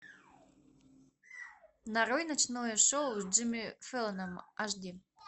нарой ночное шоу с джимми фэллоном аш ди